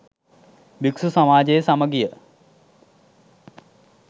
භික්‍ෂූ සමාජයේ සමගිය